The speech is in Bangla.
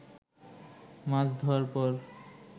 মাছ ধোয়ার পর